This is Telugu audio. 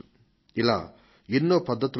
ఇలా బోలెడు పద్ధతులు ఉన్నాయి